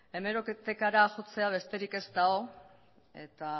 hemerotekara jotzea besterik ez dago eta